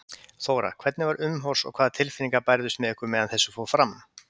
Þóra: Hvernig var umhorfs og hvaða tilfinningar bærðust með ykkur meðan þessu fór fram?